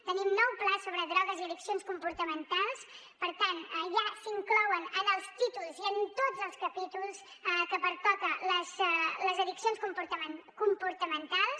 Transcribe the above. tenim un nou pla sobre drogues i addiccions comportamentals per tant ja s’inclouen en els títols i en tots els capítols que pertoquen les addiccions comportamentals